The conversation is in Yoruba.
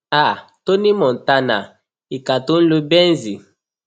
um tony montana ìka tó ń lo benze